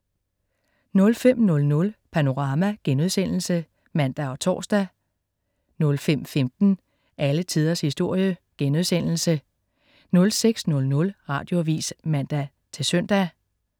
05.00 Panorama* (man og tors) 05.15 Alle tiders historie* 06.00 Radioavis (man-søn)